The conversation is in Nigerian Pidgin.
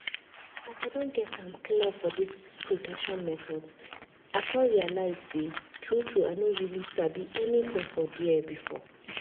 as i don get am clear for this protection methods i come realize say true true i no really sabi anything for there before.